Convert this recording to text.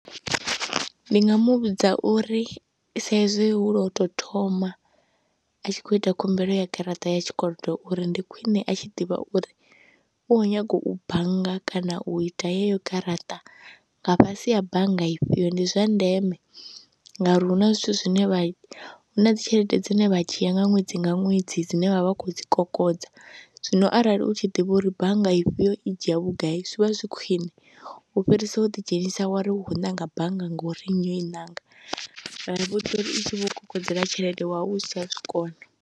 Ndi nga mu vhudza uri sa izwi hu lwo tou thoma a tshi khou ita khumbelo ya garaṱa ya tshikolodo uri ndi khwine a tshi ḓivha uri u khou nyaga u bannga kana u ita yeyo garaṱa nga fhasi ya bannga ifhio, ndi zwa ndeme ngauri hu na zwithu zwine vha, hu na dzi tshelede dzine vha dzhia nga ṅwedzi nga ṅwedzi dzine vha vha khou dzi kokodza. Zwino arali u tshi ḓivha uri bannga ifhio i dzhia vhugai zwi vha zwi khwiṋe u fhirisa u ḓidzhenisa wa ri u khou ṋanga bannga ngori nnyi o i ṋanga ngauri musi i tshi vho u kokodzela tshelede wa vha u si tsha zwi kona.